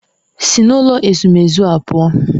Si n'ụlọ ezumezu a pụọ!